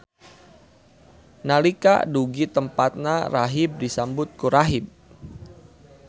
Nalika dugi tempatna rahib disambut ku rahib.